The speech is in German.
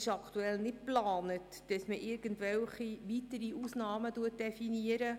Aktuell ist nicht geplant, irgendwelche weitere Ausnahmen zu definieren.